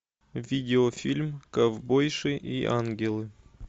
видеофильм ковбойши и ангелы